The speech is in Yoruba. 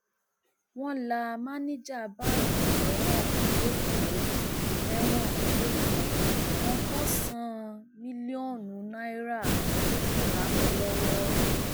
wọn la mànìjà báńkì mẹwọn lẹkọọ mẹwọn lẹkọọ ọgọsànán mílíọnù náírà ló pòórá mọ ọn lọwọ